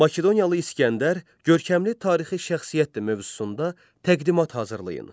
Makedoniyalı İsgəndər, görkəmli tarixi şəxsiyyətdir mövzusunda təqdimat hazırlayın.